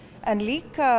en líka